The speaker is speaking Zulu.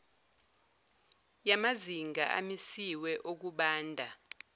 yamazinga amisiwe okubanda